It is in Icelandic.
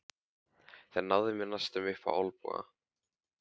Þeir náðu mér næstum upp á olnboga.